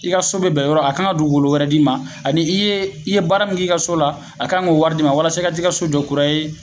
I ka so be bɛɛ yɔrɔ a kan ka dugukolo wɛrɛ d'i ma ani i ye i ye baara min kɛ i ka so la a kan k'o wari d'i ma walasa i ka taa i ka so jɔ kura ye